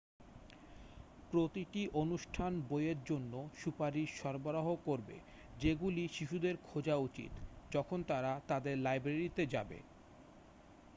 প্রতিটি অনুষ্ঠান বইয়ের জন্য সুপারিশ সরবরাহও করবে যেগুলি শিশুদের খোঁজা উচিত যখন তারা তাদের লাইব্রেরিতে যাবে